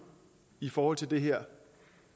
i forhold til det her